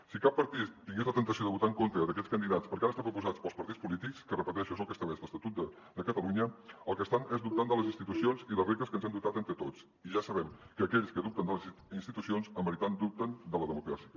si cap partit tingués la temptació de votar en contra d’aquests candidats perquè han estat proposats pels partits polítics que ho repeteixo és el que estableix l’estatut de catalunya el que estan és dubtant de les institucions i les regles que ens hem dotat entre tots i ja sabem que aquells que dubten de les institucions en veritat dubten de la democràcia